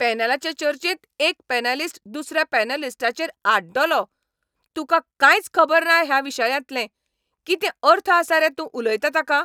पॅनलाचे चर्चेंत एक पॅनलिस्ट दुसऱ्या पॅनलिस्टाचेर आड्डलोः "तुका कांयच खबर ना ह्या विशयांतलें. कितें अर्थ आसा रे तूं उलयता ताका?"